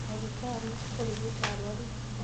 ndagĩtarĩ kurĩgĩta arũaru thibitarĩ.